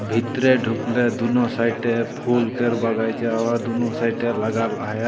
भितरे ढूकले दुनो साइडे फूल केर बगइचा हव दुनो साइडे लगाल हया।